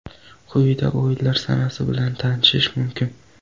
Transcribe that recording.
Quyida o‘yinlar sanasi bilan tanishish mumkin.